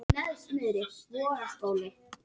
Hver eru helstu áhrif flúors á manninn?